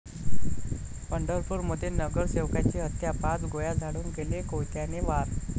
पंढरपूरमध्ये नगरसेवकाची हत्या, पाच गोळ्या झाडून केले कोयत्याने वार